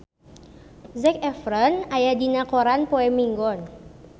Zac Efron aya dina koran poe Minggon